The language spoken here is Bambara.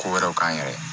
Ko wɛrɛw k'an yɛrɛ ye